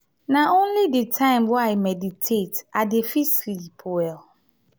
na only di time wey i meditate i dey fit sleep well.